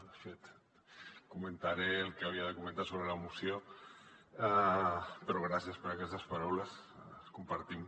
de fet comentaré el que havia de comentar sobre la moció però gràcies per aquestes paraules les compartim